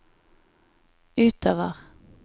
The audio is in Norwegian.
utover